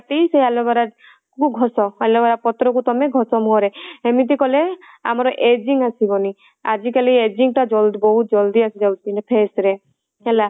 ସେ aloe vera କୁ ଘଷ aloe vera ପତ୍ର କୁ ଘଷ ତମ ମୁହଁରେ ଏମିତି କଲେ ଆମର aging ଆସିବନି ଆଜି କାଲି aging ଟା ବହୁତ ଜଲ୍ଦି ଆସିଯାଉଛି face ରେ ହେଲା ତ